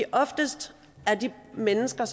oftest har de mennesker